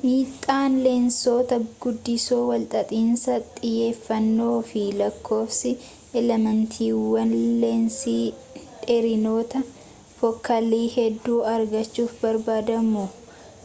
miidhaan leensota guddisoo walxaxiinsa xiyyeefannoo fi lakkoofsi elementiiwwan leensii dheerinoota fookaalii hedduu argachuuf barbaadamuu